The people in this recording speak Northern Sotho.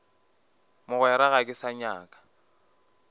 mogwera ga ke sa nyaka